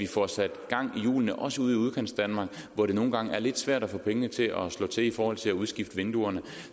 får sat gang i hjulene også ude i udkantsdanmark hvor det nogle gange er lidt svært at få pengene til at slå til i forhold til at udskifte vinduerne